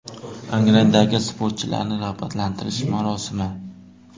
Angrendagi sportchilarni rag‘batlantirish marosimi.